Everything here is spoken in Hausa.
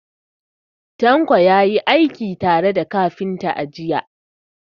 Tanko ya yi aiki tare da kafintan, a jiya.